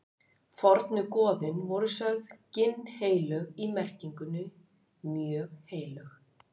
fornu goðin voru sögð ginnheilög í merkingunni mjög heilög